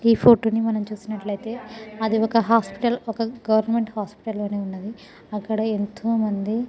ఈ ఫోటో ని మనము చస్తున్నట్లైతే అది ఓక హాస్పిటల్ ఓక గవర్నమెంట్ హాస్పిటల్ లానే ఉనది. అక్కడ యెంతో మంది --